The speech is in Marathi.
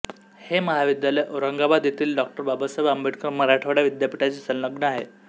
हे महाविद्यालय औरंगाबाद येथील डॉ बाबासाहेब आंबेडकर मराठवाडा विद्यापीठाशी संलग्न आहे